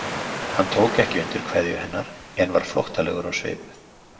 Hann tók ekki undir kveðju hennar en var flóttalegur á svip.